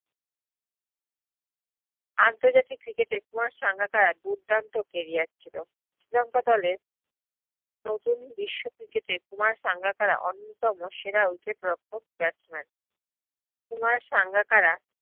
আর্থ্জাতিক cricket এ কুমার সাঙ্গাকারার দুর্দান্ত career ছিল শ্রীলংকা দ্লে প্রজন বিশ্ব cricket এর কুমার সাঙ্গাকারা অন্য়তম সেরা wicket রক্ষক batsman কুমার সাঙ্গাকারা